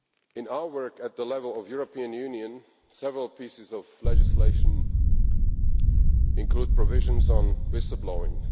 In our work at the level of the European Union, several pieces of legislation include provisions on whistle blowing